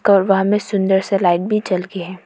कमरा में सुंदर से लाइट भी जल के है।